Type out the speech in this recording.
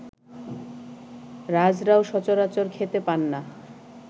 রাজরাও সচরাচর খেতে পান না